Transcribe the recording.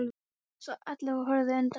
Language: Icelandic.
sagði Alli og horfði undrandi á hann.